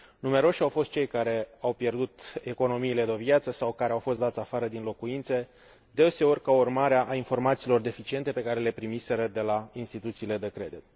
Numeroși au fost cei care au pierdut economiile de o viață sau care au fost dați afară din locuințe, deseori ca urmare a informațiilor deficiente pe care le primiseră de la instituțiile de credit.